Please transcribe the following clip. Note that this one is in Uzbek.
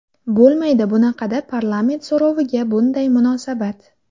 Bo‘lmaydi bunaqada parlament so‘roviga bunday munosabat.